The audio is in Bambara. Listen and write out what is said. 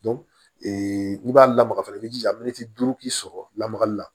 ee n'i b'a lamaga fana i b'i jija miniti duuru k'i sɔrɔ lamagali la